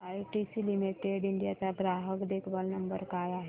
ITC limited India चा ग्राहक देखभाल नंबर काय आहे